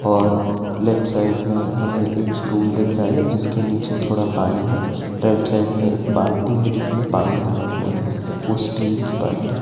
और left side में हमें एक स्टूल दिख रहा है जिसके नीचे थोड़ा पानी है राइट साइड में एक बाल्टी है जिसमें पानी भरा हुआ है वो स्टील की बाल्टी है।